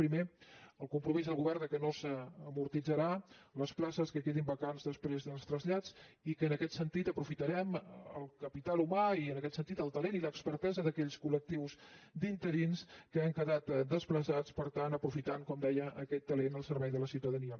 primer el compromís del govern que no s’amortitzaran les places que quedin vacants després dels trasllats i que en aquest sentit aprofitarem el capital humà i en aquest sentit el talent i l’expertesa d’aquells colrins que han quedat desplaçats per tant aprofitant com deia aquest talent al servei de la ciutadania